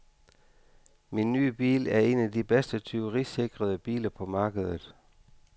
Min nye bil er en af de bedst tyverisikrede biler på markedet.